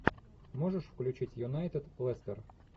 можешь включить юнайтед лестер